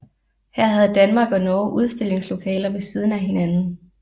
Her havde Danmark og Norge udstillingslokaler ved siden af hinanden